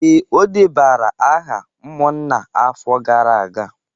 Ee, o debara aha umunna afo gara aga